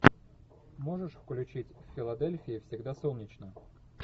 можешь включить в филадельфии всегда солнечно